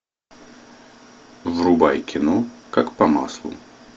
врубай кино как по маслу